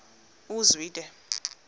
uzwide